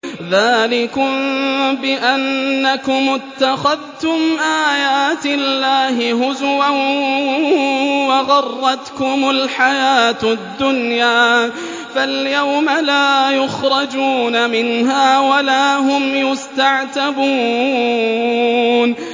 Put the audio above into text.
ذَٰلِكُم بِأَنَّكُمُ اتَّخَذْتُمْ آيَاتِ اللَّهِ هُزُوًا وَغَرَّتْكُمُ الْحَيَاةُ الدُّنْيَا ۚ فَالْيَوْمَ لَا يُخْرَجُونَ مِنْهَا وَلَا هُمْ يُسْتَعْتَبُونَ